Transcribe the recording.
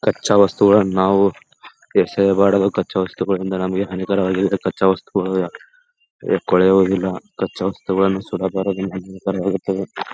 ಕಚ್ಚಾ ವಸ್ತುಗಳನ್ನು ನಾವು ಎಸೆಬಾರದವು ಕಚ್ಚಾ ವಸ್ತುಗಳಿಂದ ನಮಗೆ ಹಾನಿಕಾರವಾಗಿರುತ್ತದೆ ಕಚ್ಚಾ ವಸ್ತುಗಳನ್ನು ಕೊಳೆಯೋ ಹಾಗಿಲ್ಲ ಕಚ್ಚಾ ವಸ್ತುಗಳ್ನು ಸುಡಬಾರದು ನಾವು .